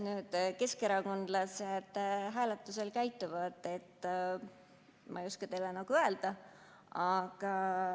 Kuidas keskerakondlased hääletusel käituvad, seda ma ei oska teile öelda.